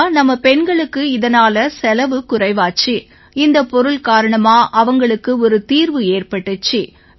ஐயா நம்ம பெண்களுக்கு இதனால செலவு குறைவாச்சு இந்தப் பொருள் காரணமா அவங்களுக்கு ஒரு தீர்வு ஏற்பட்டிச்சு